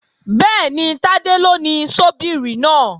Bẹ́ẹ̀ni, Tádé ló ni ṣọ́bíìrì náà